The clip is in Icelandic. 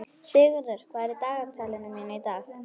Sigurður, hvað er í dagatalinu mínu í dag?